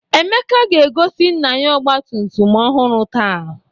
Emeka ga-egosi nna ya ọgbatumtum ọhụrụ taa.